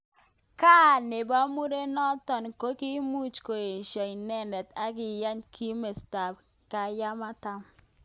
Kaa nebo murenotok kokimuch koesho inendet ak kiyach kimosta ab Kyakatoma.